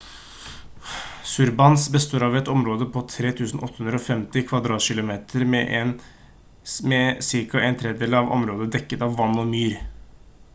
sundarbans består av et område på 3 850 km² med ca. en tredjedel av området dekket av vann og myr